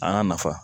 A n'a nafa